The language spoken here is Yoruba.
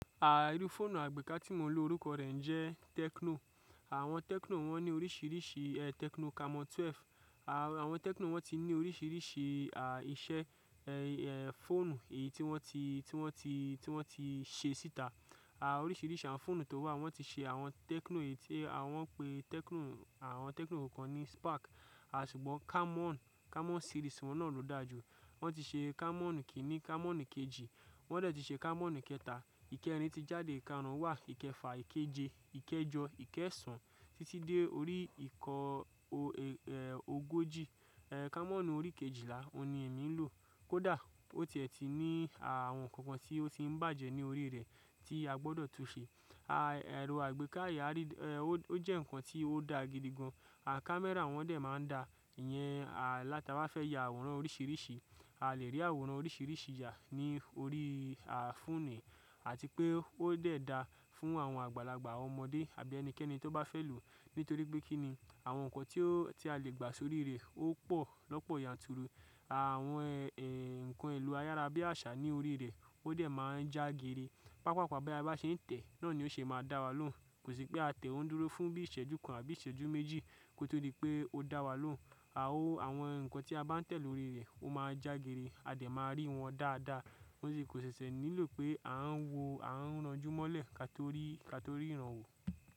Ah, irú fóònù àgbéká tí mo ń lò orúkọ rẹ̀ jẹ́ Techno. Àwọn Techno wón ní oríṣiríṣi, eẹ́ Techno Camon kejìlá. Àwọn Techno wón ti ní oríṣiríṣi, ah, iṣẹ́, ẹ́ẹ́ fọ́ònù èyí tí wón ti, tí wón ti, tí wón ti ṣe síta. Ah, oríṣiríṣi àwọn fọ́ònù tó wà, wón ti ṣe àwọn Techno èyí tí a wón ń pè Techno, àwọn Techno kankan ní Spark à ṣùgbọ́n Camon, Camon series wón náà ló da jù. Wón ti ṣe Camon kíní, Camon kejì, wón dẹ̀ ti ṣe Camon kẹta. Íkẹrin ti jáde, ìkarùn-ún wà, ìkẹfà, ìkéje, ìkẹjọ, ìkẹsan títí dé orí ìkọ o, ẹ́ẹ́ ogójì. Eẹ́ Camon orí kejìlá, òun ni èmi ń lò. Kódà ó tìẹ tìí ní, àwọn nǹkan kan tí ó ti ń bàjẹ́ ní orí rẹ̀ tí a gbọdọ̀ tun ṣe. Ah, ẹ̀rọ àgbéká ìyá rí, ẹ́ẹ́ ó jẹ́ ǹkan tí ó da gidi gan. Àwọn camera wón dẹ̀ máa ń da. Ìyẹn, à láta bá fẹ́ ya àwòrán oríṣiríṣi, a lè rí àwòrán oríṣiríṣi yà ní orí, ah, fóònù àti pé ó dẹ̀ da fún àwọn àgbàlagbà, àwọn ọmọdé àbí ẹnikẹ́ni tó bá fẹ́ lò. Nítorí pé kí ni àwọn nǹkan tí ó, tí a lè gbà sórí rẹ̀ ó pò lọ́pọ̀ yanturu. Àwọn ẹ́ẹ́ nǹkan elo ayára bíi àṣá ní orí rẹ̀ ó dẹ̀ máa ń já geere. Pápàpá bi a bá ṣe ń tẹ̀, náà ni ó ṣe máa da wa lóhùn. Kò sí pé a tẹ̀ ọ́n dúró fún bíi ìṣẹ́jú kan àbí ìṣẹ́jú méjì kó tó rí pé ó dá wa lóhùn. A o àwọn nǹkan tí a bá ń tẹ̀ lórí rẹ̀ ó máa ń já geere, a dẹ̀ máa rí wọn dáadáa. Ó sì kò ṣẹṣẹ nílò pé a ń wọ, a ń ranjúmọ́lẹ̀ ká tó rí, ká tó rí ìrànwọ́.